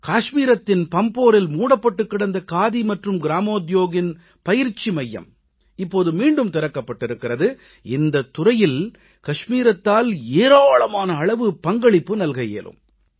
காஷ்மீரத்தின் பம்போரில் மூடப்பட்டுக் கிடந்த காதி மற்றும் கிராமோத்யோக்கின் பயிற்சி மையம் இப்போது மீண்டும் திறக்கப்பட்டிருக்கிறது இந்தத் துறையில் கஷ்மீரத்தால் ஏராளமான அளவு பங்களிப்பு நல்க இயலும்